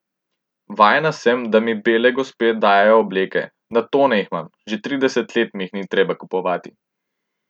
Vajena sem, da mi bele gospe dajejo obleke, na tone jih imam, že trideset let mi jih ni treba kupovati.